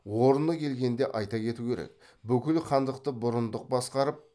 орны келгенде айта кету керек бүкіл хандықты бұрындық басқарып